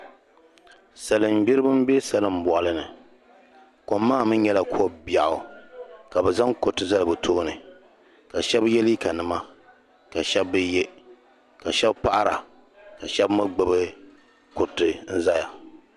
salingbiriba m-be salimbɔɣili ni kom maa mi nyɛla ko' biɛɣu ka bɛ zaŋ kuriti zali bɛ tooni ka shɛba ye liiganima ka shɛba bi ye ka shɛba paɣira ka shɛba mi gbubi kuriti n-zaya